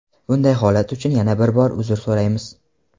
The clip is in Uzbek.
Bunday holat uchun yana bir bor uzr so‘raymiz.